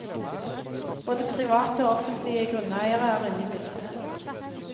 Både private og offentlige grunneiere er inne i bildet.